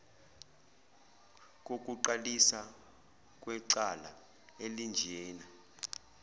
kokuqalisa kwecala elinjena